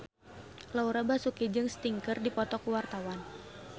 Laura Basuki jeung Sting keur dipoto ku wartawan